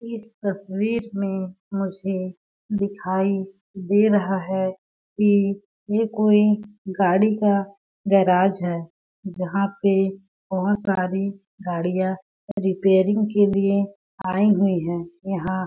इस तस्वीर में मुझे दिखाई दे रहा है की ये कोई गाड़ी का गैराज़ है जहाँ पे बहोत सारी गाड़ियां रिपेरिंग के लिए आई हुई है यहाँ --